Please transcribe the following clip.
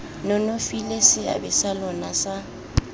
nonofile seabe sa lona sa